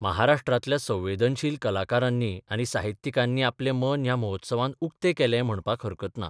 महाराष्ट्रातल्या संवेदनशील कलाकारांनी आनी साहित्यिकांनी आपलें मन ह्या महोत्सवांत उक्त केलें म्हणपाक हरकत ना.